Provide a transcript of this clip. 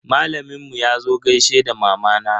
Malamin mu yazo gaishe da mamana.